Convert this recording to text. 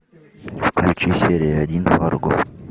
включи серия один фарго